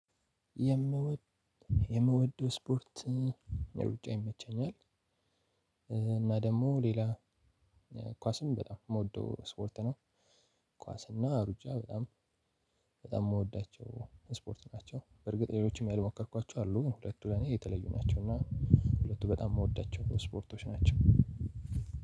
የምወደው ስፖርት ሩጫ ይመቸኛል። እና ደግሞ ሌላ ኳስም በጣም የምወደው ስፖርት ነው። ኳስ እና ሩጫ በጣም በጣም የምወዳቸው ስፖርት ናቸው። በርግጥ ሌሎችም ያልሞከርኳቸው አሉ ሁለቱ ለኔ የተለዩ ናቸው። እና ሁለቱ በጣም የምወዳቸው ስፖርቶች ናቸው።